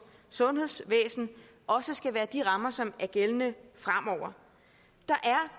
sundhedsvæsen også skal være de rammer som er gældende fremover der